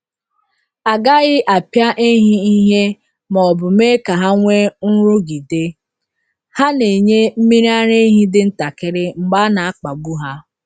A gaghị apịa ehi ìhè ma ọ bụ mee ka ha nwee nrụgide — ha na-enye mmiri ara ehi dị ntakịrị mgbe a na-akpagbu ha.